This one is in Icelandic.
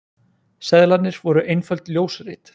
Seðlarnir voru einföld ljósrit